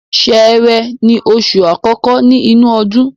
Sẹ́rẹ́ ni oṣù àkọ́kọ́ ni inu ọdún